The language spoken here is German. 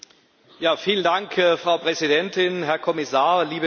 Frau Präsidentin, Herr Kommissar, liebe Kolleginnen und Kollegen!